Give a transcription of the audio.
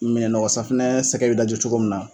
Minɛn nɔgɔ safunɛ sɛgɛ bɛ daji cogo min na.